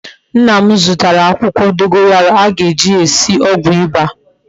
Nna m zutara akwukwo dogoyaro a ga-eji sie ogwu iba